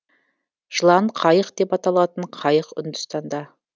жылан қайық деп аталатын қайық үндістанда